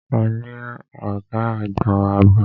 A ní ọ̀gá àgbon ààbò.